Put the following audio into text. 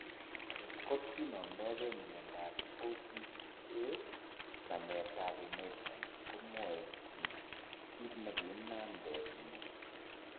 Ot kot kinomdpge miondap OPCA nametap inheritance komwae kit ne kiinamnden mioni.